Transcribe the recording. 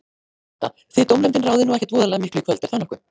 Birta: Þið dómnefndin ráðið nú ekkert voðalega miklu í kvöld, er það nokkuð?